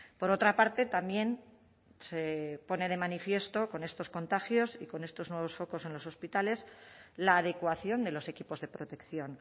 por otra parte también se pone de manifiesto con estos contagios y con estos nuevos focos en los hospitales la adecuación de los equipos de protección